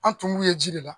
An tun b'u ye ji de la